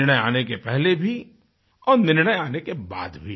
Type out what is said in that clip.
निर्णय आने के पहले भी और निर्णय आने के बाद भी